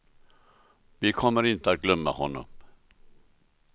Vi kommer inte att glömma honom.